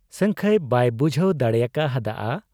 ᱥᱟᱹᱝᱠᱷᱟᱹᱭ ᱵᱟᱭ ᱵᱩᱡᱷᱟᱹᱣ ᱫᱟᱲᱮᱭᱟᱠᱟ ᱦᱟᱫ ᱟ ᱾